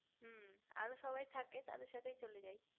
হু আরো সবাই থাকে তাদের সাথে চলে যায়